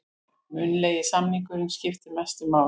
Munnlegi samningurinn skiptir mestu máli